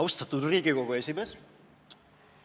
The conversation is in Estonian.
Austatud Riigikogu esimees!